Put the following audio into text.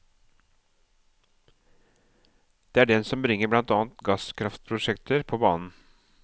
Det er den som bringer blant annet gasskraftprosjekter på banen.